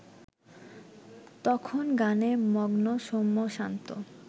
তখন গানে মগ্ন সৌম্য-শান্ত